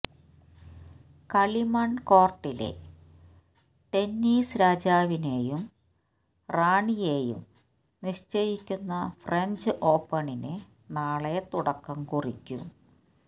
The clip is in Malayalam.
കളിമണ് കോര്ട്ടിലെ ടെന്നീസ് രാജാവിനെയും റാണിയേയും നിശ്ചയിക്കുന്ന ഫ്രഞ്ച് ഓപ്പണിന് നാളെ തുടക്കം കുറിക്കും